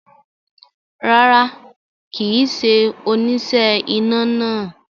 Rárá, kì í ṣe oníṣẹ́ iná náà